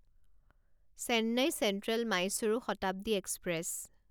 Chennai central Mysuru Shatabdi express